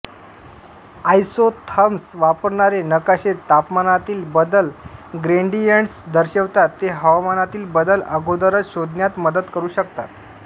isotherms वापरणारे नकाशे तापमानातील बदल ग्रेडियंट्स दर्शवितात ते हवामानातील बदल अगोदरच शोधण्यात मदत करू शकतात